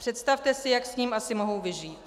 Představte si, jak s ním asi mohou vyžít.